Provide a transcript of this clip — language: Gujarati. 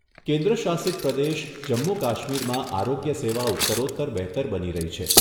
કેન્દ્ર શાસિત પ્રદેશ જમ્મુ કાશ્મીરમાં આરોગ્ય સેવા ઉત્તરોત્તર બહેતર બની રહી છે.